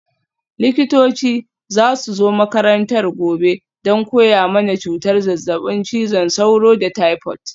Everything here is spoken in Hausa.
Likitoci za su zo makarantar gobe don koya mana cutar zazzabin cizon sauro da taifot.